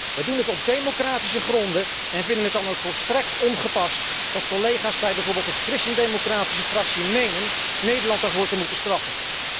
We doen dit op democratische gronden en vinden het dan ook volstrekt ongepast dat collega's bij bijvoorbeeld de Christen democratische Fractie menen Nederland daarvoor te moeten straffen.